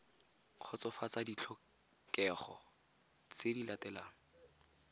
kgotsofatsa ditlhokego tse di latelang